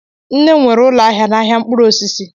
Nne m nwere ụlọ ahịa n'ahịa mkpụrụ osisi